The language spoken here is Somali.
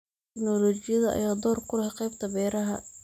Tignoolajiyada ayaa door ku leh qaybta beeraha.